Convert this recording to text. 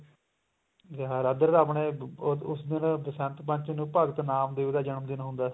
ਇੱਧਰ ਤਾਂ ਆਪਣੇ ਉਸ ਦਿਨ ਬਸੰਤ ਪੰਚਮੀ ਨੂੰ ਭਗਤ ਨਾਮ ਦੇਵ ਦਾ ਜਨਮ ਦਿਨ ਹੁੰਦਾ